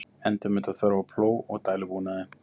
Endurmeta þörf á plóg og dælubúnaði